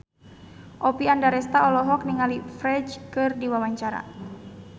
Oppie Andaresta olohok ningali Ferdge keur diwawancara